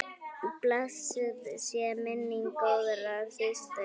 Blessuð sé minning góðrar systur.